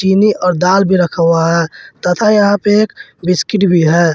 चीनी और दाल भी रखा हुआ है तथा यहां पे एक बिस्किट भी है।